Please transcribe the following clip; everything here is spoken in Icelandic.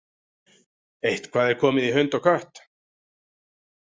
Eitthvað er komið í hund og kött